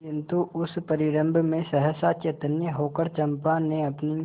किंतु उस परिरंभ में सहसा चैतन्य होकर चंपा ने अपनी